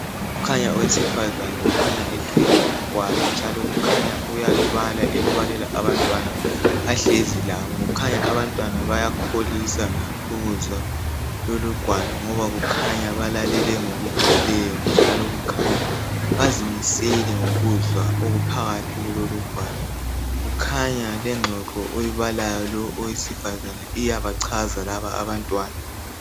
Kukhanya owesifazana okhanya ethwele ugwalo, njalo kukhanya uyalubala elubalela abantwana ahlezi labo, kukhanya abantwana bayakholisa ukuzwa lolu gwalo ngoba bakhanya balalele ngokugcweleyo ngoba kukhanya bazimisele ngokuzwa okuphakathi kulolu gwalo, kukhanya ingxoxo ayibalayo owesifazana iyabachaza laba abantwana.